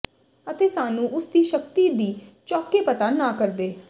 ਅਤੇ ਸਾਨੂੰ ਉਸ ਦੀ ਸ਼ਕਤੀ ਦੀ ਚੌਕੇ ਪਤਾ ਨਾ ਕਰਦੇ